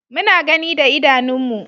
Muna gani da idanunmu.